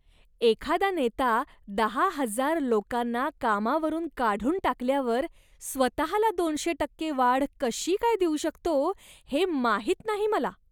एखादा नेता दहा हजार लोकांना कामावरून काढून टाकल्यावर स्वतःला दोनशे टक्के वाढ कशी काय देऊ शकतो हे माहीत नाही मला.